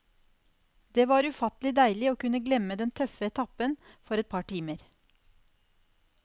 Det var ufattelig deilig å kunne glemme den tøffe etappen for et par timer.